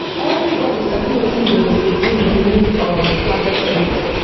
everybody sabi wetin dem go do during um harvest week